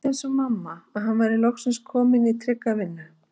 Ég hélt eins og mamma að hann væri loksins kominn í trygga vinnu.